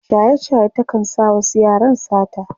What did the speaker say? shaye shaye ta kan sa wasu yaran sata